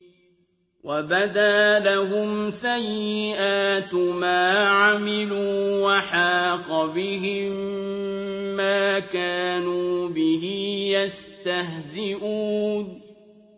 وَبَدَا لَهُمْ سَيِّئَاتُ مَا عَمِلُوا وَحَاقَ بِهِم مَّا كَانُوا بِهِ يَسْتَهْزِئُونَ